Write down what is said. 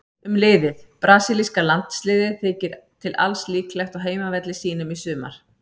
Um liðið: Brasilíska landsliðið þykir til alls líklegt á heimavelli sínum í sumar.